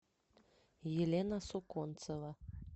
елена суконцева